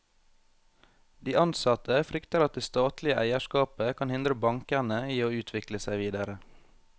De ansatte frykter at det statlige eierskapet kan hindre bankene i å utvikle seg videre.